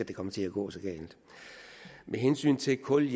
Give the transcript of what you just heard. det kommer til at gå så galt med hensyn til kul